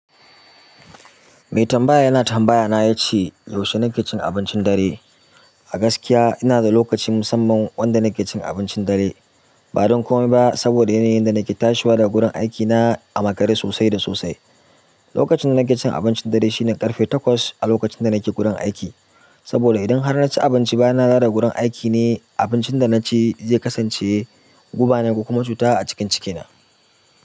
Me tambaya yana tambaya na yace yaushe nake cin abincin dare. A gaskiya, ina da lokaci musamman wanda nake cin abincin dare. Ba don komai ba saboda yanayin da nake tashiwa daga gudan aikina a makare sosai da sosai. Lokacin da nake cin abincin dare shine ƙarfe takwas a lokacin da nake gudan aiki. Saboda idan har na ci abinci bayan nadawo gurin aiki ne, abincin da na ci zai kasance guba naku kuma cuta a cikin cikina.